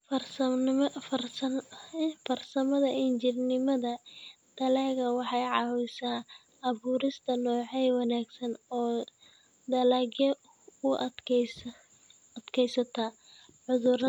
Farsamada injineernimada dalagga waxay caawisaa abuurista noocyo wanaagsan oo dalagyo u adkaysta cudurrada.